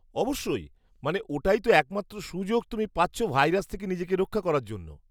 অবশ্যই, মানে ওটাই তো একমাত্র সুযোগ তুমি পাচ্ছ ভাইরাস থেকে নিজেকে রক্ষা করার জন্য।